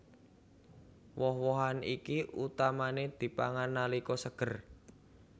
Woh wohan iki utamané dipangan nalika seger